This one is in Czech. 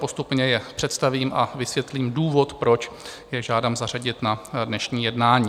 Postupně je představím a vysvětlím důvod, proč je žádám zařadit na dnešní jednání.